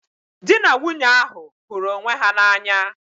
Dị na nwunye ahụ hụrụ onwe ha n'anya.